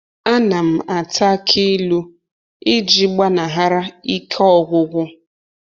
A na m ata aki ilu iji gbanahara ike ọgwụgwụ